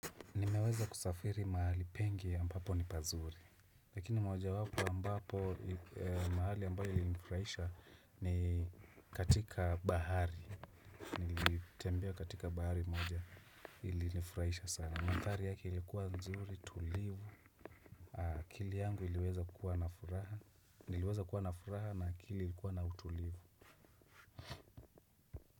Nimeweza kusafiri mahali pengi ambapo ni pazuri, lakini moja wapo ambapo mahali ambayo ilinifurahisha ni katika bahari, nilitembea katika bahari moja ilinifurahisha sana. Mandhari yake ilikuwa nzuri, tulivu, akili yangu iliweza kukuwa na furaha, niliweza kuwa na furaha na akili ilikuwa na utulivu.